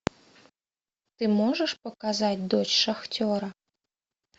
ты можешь показать дочь шахтера